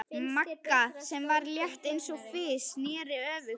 Magga, sem var létt eins og fis, sneri öfugt.